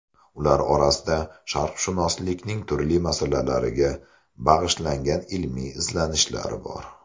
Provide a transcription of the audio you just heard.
Ular orasida sharqshunoslikning turli masalalariga bag‘ishlangan ilmiy izlanishlar bor.